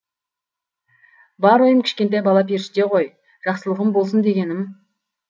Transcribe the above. бар ойым кішкентай бала періште ғой жақсылығым болсын дегенім